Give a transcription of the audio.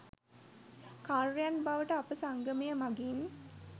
කාර්‍යයන් බවට අප සංගමය මගින්